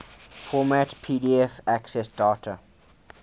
format pdf accessdate